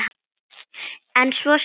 En svo skildu leiðir.